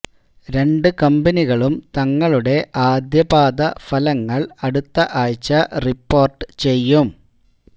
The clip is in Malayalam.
രണ്ട് കമ്പനികളും തങ്ങളുടെ ആദ്യ പാദ ഫലങ്ങള് അടുത്ത ആഴ്ച റിപ്പോര്ട്ട് ചെയ്യും